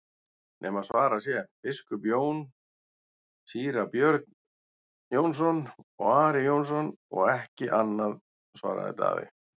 nema svarað sé:-Biskup Jón, Síra Björn Jónsson og Ari Jónsson og ekki annað, svaraði Daði.